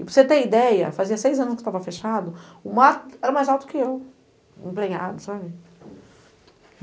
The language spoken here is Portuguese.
E, para você ter ideia, fazia seis anos que estava fechado, o mato era mais alto que eu, sabe?